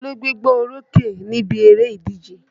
Ta ló gbégbá orókè níbi eré ìdíje?